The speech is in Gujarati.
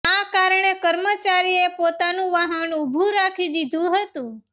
આ કારણે કર્મચારીએ પોતાનું વાહન ઉભું રાખી દીધું હતું